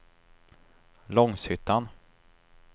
Långshyttan